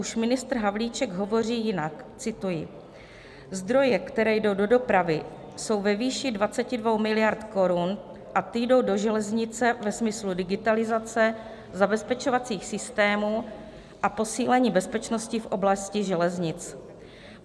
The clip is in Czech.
už ministr Havlíček hovoří jinak - cituji: "Zdroje, které jdou do dopravy, jsou ve výši 22 miliard korun a ty jdou do železnice ve smyslu digitalizace, zabezpečovacích systémů a posílení bezpečnosti v oblasti železnic.